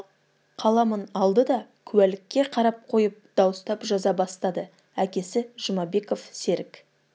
қаламын алды да куәлікке қарап қойып дауыстап жаза бастады әкесі жұмабеков серік